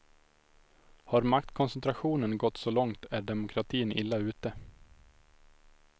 Har maktkoncentrationen gått så långt är demokratin illa ute.